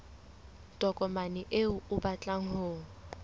tokomane eo o batlang ho